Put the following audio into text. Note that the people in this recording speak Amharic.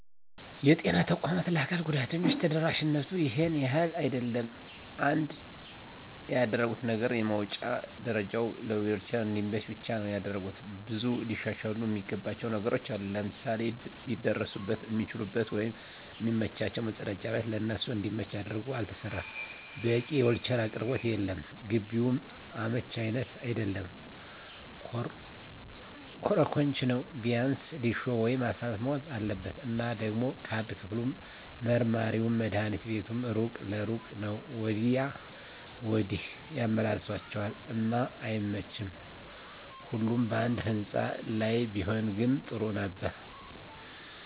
የጤና ተቋማት ለአካል ጉዳተኞች ተደራሽነቱ ይሄን ያህል አይደለም። አንድ ያደረጉት ነገር የመዉጫ ደረጀዉ ለዊልቸር እንዲመች ብቻ ነዉ ያደረጉት። ብዙ ሊሻሻሉ እሚገባቸዉ ነገሮች አሉ፤ ለምሳሌ ሊደርሱበት እሚችሉት ወይም እሚመቻቸዉ መፀዳጃ ቤት ለነሱ እንዲመች አድርጎ አልተሰራም፣ በቂ የዊልቸር አቅርቦት የለም፣ ግቢዉም እሚመች አይነት አይደለም ኮሮኮንች ነዉ ቢያንስ ሊሾ ወይም አሰፓልት መሆን አለበት። እና ደሞ ካርድ ክፍሉም፣ መመርመሪያዉም፣ መድሀኒት ቤቱም እሩቅ ለእሩቅ ነዉ ወዲያ ወዲህ ያመላልሷቸዋል እና አይመቺም ሁሉም ባንድ ህንፃ ላይ ቢሆን ግን ጥሩ ነበር።